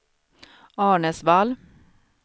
Arnäsvall